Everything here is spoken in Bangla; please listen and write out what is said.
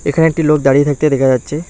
এখানে একটি লোক দাঁড়িয়ে থাকতে দেখা যাচ্ছে।